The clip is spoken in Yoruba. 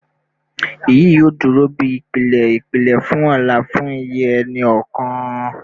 Iyi yoo duro bi ipilẹ ipilẹ fun ọlá fun iye ẹni kọọkan